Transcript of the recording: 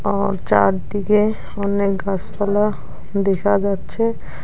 আর চারদিকে অনেক গাছপালা দেখা যাচ্ছে।